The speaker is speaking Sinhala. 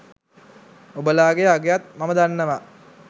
ඔබලාගෙ අගයත් මම දන්නවා.